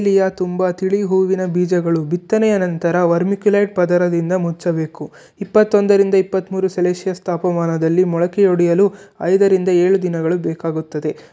ಇಲ್ಲಿಯ ತುಂಬಾ ತಿಳಿ ಹೂವಿನ ಬೀಜಗಳು ಬಿತ್ತನೆಯ ನಂತರ ವರ್ಮಿಕ್ಯುಲೇಟ್ ಪದರದಿಂದ ಮುಚ್ಚಬೇಕು ಇಪ್ಪತ್ತೊಂದರಿಂದ ಇಪ್ಪತ್ತ್ಮೂರು ಸಲ್ಸಿಶಿಯಸ್ ತಾಪಮಾನದಲ್ಲಿ ಮೊಳಕೆ ಹೊಡೆಯಲು ಐದರಿಂದ ಏಳು ದಿನಗಳು ಬೇಕಾಗುತ್ತದೆ.